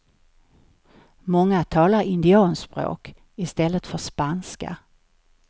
Många talar indianspråk istället för spanska.